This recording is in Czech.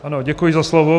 Ano, děkuji za slovo.